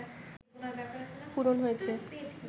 পূরণ হয়েছে